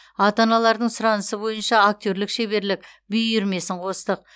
ата аналардың сұранысы бойынша актерлік шеберлік би үйірмесін қостық